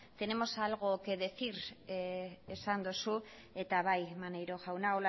tenemos algo que decir esan duzu eta bai maneiro jauna